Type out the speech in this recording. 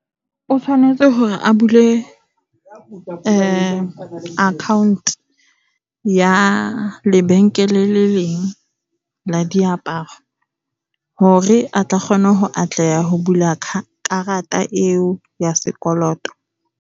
O tshwanetse hore a bule account ya lebenkele le leng la diaparo hore a tle a kgone ho atleha ho bula karata eo ya sekoloto.